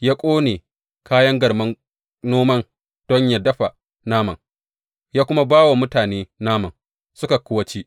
Ya ƙone kayan garman noman don yă dafa naman, ya kuma ba wa mutane naman, suka kuwa ci.